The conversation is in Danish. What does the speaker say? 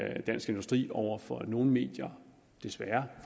at dansk industri over for nogle medier desværre